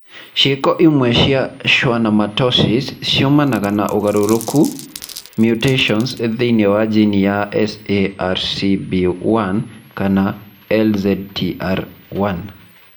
Ciiko imwe cia schwannomatosis ciumanaga na ũgarũrũku (mutations) thĩinĩ wa jini cia SMARCB1 kana LZTR1.